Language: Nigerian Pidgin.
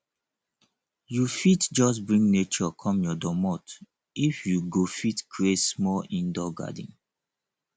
you fit just bring nature come your domot if you go fit create small indoor garden